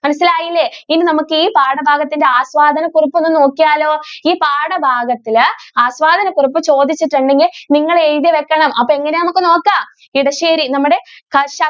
മനസിലായില്ലേ ഇനി നമുക്ക് ഈ പാഠഭാഗത്തിൻ്റെ ആസ്വാദന കുറിപ്പ് ഒന്ന് നോക്കിയാലോ ഈ പാഠഭാഗത്തിൽ ആസ്വാദന കുറിപ്പ് ചോദിച്ചിട്ടുണ്ടെങ്കിൽ നിങ്ങൾ എഴുതി വെക്കണം അത് എങ്ങനെ ആണ് എന്ന് നമുക്ക് നോക്കാം.